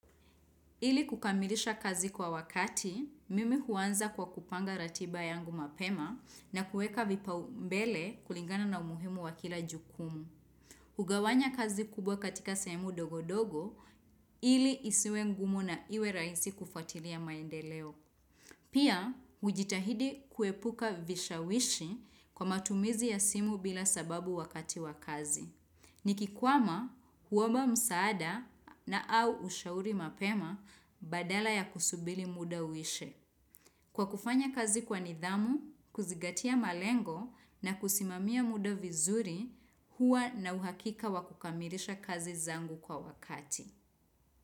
Ili kukamilisha kazi kwa wakati, mimi huanza kwa kupanga ratiba yangu mapema na kueka vipao mbele kulingana na umuhimu wakila jukumu. Hugawanya kazi kubwa katika semu dogodogo, ili isiwe ngumu na iwe rahisi kufatilia maendeleo. Pia, ujitahidi kuepuka vishawishi kwa matumizi ya simu bila sababu wakati wa kazi. Ni kikwama huomba msaada na au ushauri mapema badala ya kusubiti muda uishe. Kwa kufanya kazi kwa nidhamu, kuzigatia malengo na kusimamia muda vizuri hua na uhakika wakukamilisha kazi zangu kwa wakati.